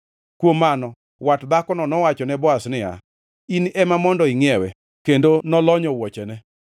Kuom mano, wat dhakono nowachone Boaz niya, “In, ema mondo ingʼiewe.” Kendo nolonyo wuochene.